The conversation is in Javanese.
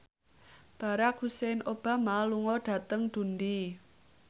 Barack Hussein Obama lunga dhateng Dundee